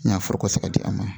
N'a foro ka se ka di a ma